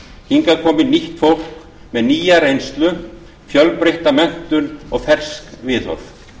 hingað komi nýtt fólk með nýja reynslu fjölbreytta menntun og fersk viðhorf